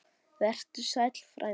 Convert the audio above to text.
Vertu sæll, frændi.